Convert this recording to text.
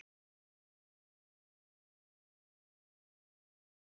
Ólafur Ingi Skúlason er líka áfram orðaður sterklega við Stjörnuna.